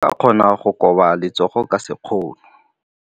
O ka kgona go koba letsogo ka sekgono.